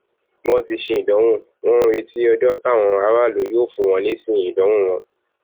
wọn ti ṣèdánwò wọn ń retí ọjọ táwọn aráàlú yóò fún wọn lésì ìdánwò wọn